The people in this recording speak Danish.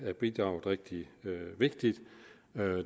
af bidraget rigtig vigtigt